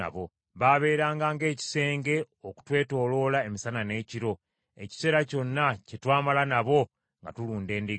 Baaberanga ng’ekisenge okutwetooloola emisana n’ekiro, ekiseera kyonna kye twamala nabo nga tulunda endiga.